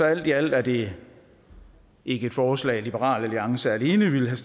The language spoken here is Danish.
alt i alt er det ikke et forslag liberal alliance alene ville have